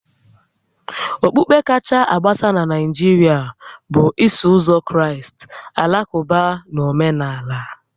Okpukpe kacha agbasa na Naijiria bụ Iso Ụzọ Kraịst, Alakụba na Omenala